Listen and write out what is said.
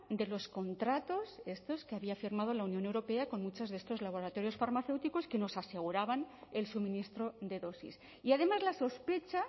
de los contratos que había firmado la unión europea con muchos de estos laboratorios farmacéuticos que nos aseguraban el suministro de dosis y además la sospecha